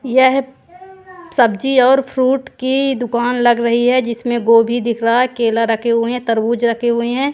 यह सब्जी और फ्रूट की दुकान लग रही है जिसमें गोभी दिख रहा है केला रखे हुए हैं तरबूज रखे हुए हैं।